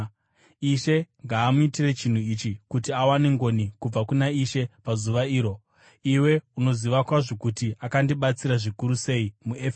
Ishe ngaamuitire chinhu ichi kuti awane ngoni kubva kuna Ishe pazuva iro! Iwe unoziva kwazvo kuti akandibatsira zvikuru sei muEfeso.